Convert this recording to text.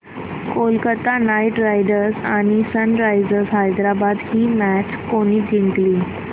Kolkata knight riders आणि Sunrisers Hyderabad ही match कोणी जिंकली